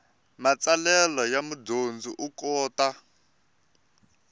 matsalelo ya mudyondzi u kota